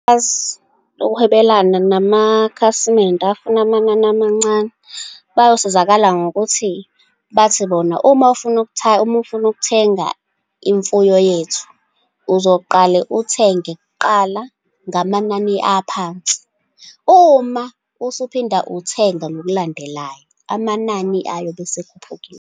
Ukuhwebelana namakhasimende afuna amanani amancane bayosizakala ngokuthi bathi bona, uma ufuna uma ufuna ukuthenga imfuyo yethu, uzoqale uthenge kuqala ngamanani aphansi. Uma usuphinda uthenga ngokulandelayo, amanani ayobe asekhuphukile.